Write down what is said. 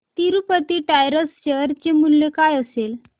Tirupati tyres share चे मूल्य काय असेल